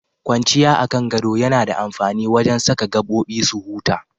Kwanciya a kan gado yana da amfani wajen saka gabobi su huta.